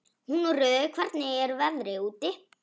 Húnröður, hvernig er veðrið úti?